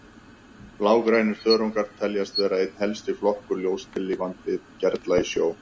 Blágrænir þörungar teljast vera einn helsti flokkur ljóstillífandi gerla í sjó.